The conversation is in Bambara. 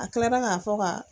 A kilara ka fɔ ka